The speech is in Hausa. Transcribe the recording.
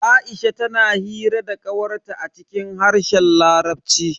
Aisha tana hira da kawar ta a cikin harshen larabci.